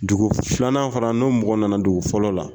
Dugu filanan fara, n'o mɔgɔ nana dugu fɔlɔ la